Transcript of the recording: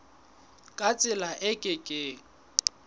ka tsela e ke keng